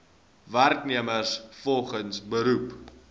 werknemers volgens beroep